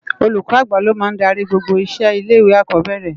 Ólúkò ágbá ló má n dàri gbógbó iṣé ilé iwé ákòbèrè